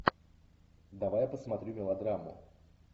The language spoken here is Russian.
давай я посмотрю мелодраму